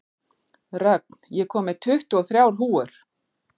Rögn, ég kom með tuttugu og þrjár húfur!